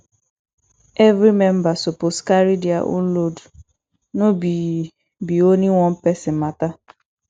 every member suppose carry their own load no be be only one person matter